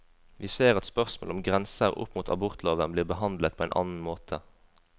Vi ser at spørsmål som grenser opp mot abortloven blir behandlet på en annen måte.